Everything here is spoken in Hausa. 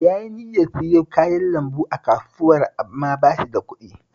Yayi niyyar siyo kayan lambu a Kasuwar amma ba shi da kuɗi